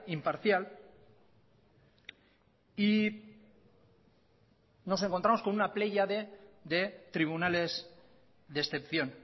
imparcial y nos encontramos con una pléyade de tribunales de excepción